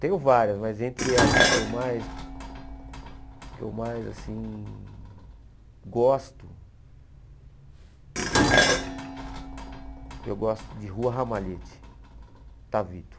Tenho várias, mas entre as que eu mais que eu mais assim gosto, eu gosto de Rua Ramalhete, Tavito.